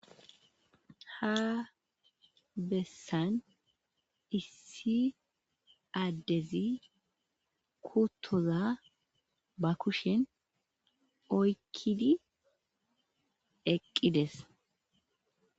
Issi Adezi kuttoza ba kushen oykkiddi dizayssa besees.